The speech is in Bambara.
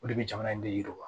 O de bɛ jamana in de yiriwa